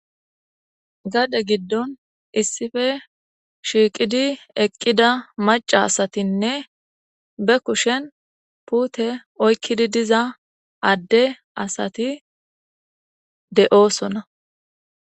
gade giddon issife shiiqidi eqqida maca asatinne be kushen puute oykkidi diza adde asati de7oosona